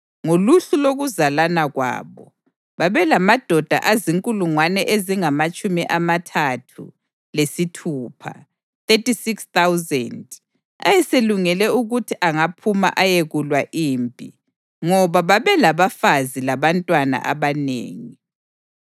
Ngoluhlu lokuzalana kwabo, babelamadoda azinkulungwane ezingamatshumi amathathu lesithupha (36,000) ayeselungele ukuthi angaphuma ayekulwa impi, ngoba babelabafazi labantwana abanengi.